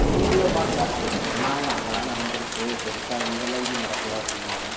video பார்க்கல அவங்க சொன்னாங்க அங்கதான் நடந்துருச்சு இங்க எல்லாம் எதுவும் பெருசா நடக்கல அப்படின்னாங்க